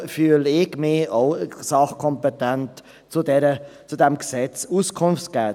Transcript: Darum fühle ich mich auch sachkompetent, zu diesem Gesetz Auskunft zu geben.